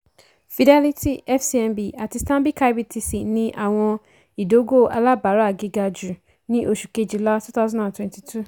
fidelity fcmb àti stanbic ibtc ní àwọn ìdógò alábàárà gíga jù ní oṣù kejìlá twenty twenty two.